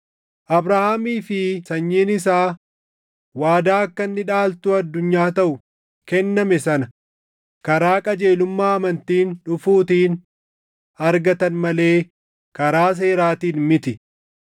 Abrahaamii fi sanyiin isaa waadaa akka inni dhaaltuu addunyaa taʼu kenname sana karaa qajeelummaa amantiin dhufuutiin argatan malee karaa seeraatiin miti.